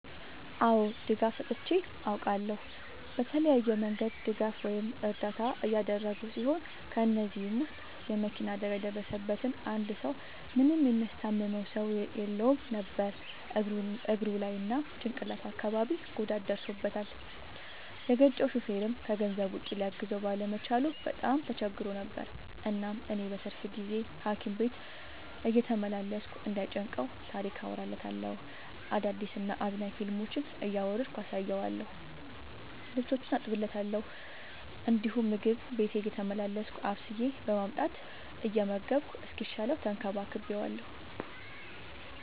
አዎ ድጋፍ ሰጥቼ አውቃለሁ። በተለያየ መንገድ ድጋፍ ወይም እርዳታ ያደረግሁ ሲሆን ከ እነዚህም ውስጥ የ መኪና አደጋ የደረሠበትን አንድ ሰው ምንም የሚያስታምመው ሰው የለውም ነበር እግሩ ላይ እና ጭቅላቱ አካባቢ ጉዳት ደርሶበታል። የገጨው ሹፌርም ከገንዘብ ውጪ ሊያግዘው ባለመቻሉ በጣም ተቸግሮ ነበር። እናም እኔ በትርፍ ጊዜዬ ሀኪም ቤት እየተመላለስኩ እንዳይ ጨንቀው ታሪክ አወራለታለሁ፤ አዳዲስ እና አዝናኝ ፊልሞችን እያወረድኩ አሳየዋለሁ። ልብሶቹን አጥብለታለሁ እንዲሁም ምግብ ቤቴ እየተመላለስኩ አብስዬ በማምጣት እየመገብኩ እስኪሻለው ተንከባክቤዋለሁ።